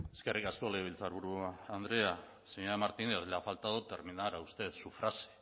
eskerrik asko legebiltzarburu andrea señora martínez le ha faltado terminar a usted su frase